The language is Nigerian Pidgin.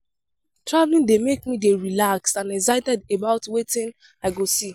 Traveling dey make me dey relaxed and excited about wetin I go see.